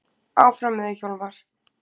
Áfram með þig, Hjálmar!